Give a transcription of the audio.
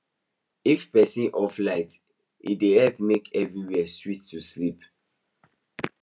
if person off light e dey help make everywhere sweet to sleep